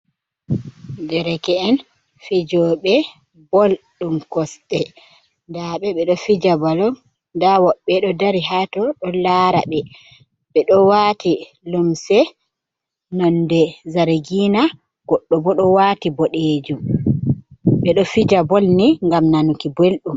Derke en fijoɓe bool ɗum kosɗe nda ɓe ɓeɗo fija balum nda woɓɓe ɗo dari hato ɓeɗo lara ɓeɗo waati lumse nonde zargina goɗɗo bo ɗo waati boɗejum. Ɓeɗo fija bool ni ngam nanuki belɗum.